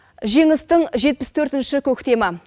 жеңістің жетпіс төртінші көктемі